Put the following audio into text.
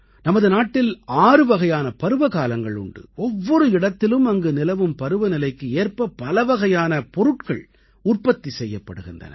நமது நாட்டில் ஆறுவகையான பருவகாலங்கள் உண்டு ஒவ்வொரு இடத்திலும் அங்கு நிலவும் பருவநிலைக்கு ஏற்ப பலவகையான பொருட்கள் உற்பத்தி செய்யப்படுகின்றன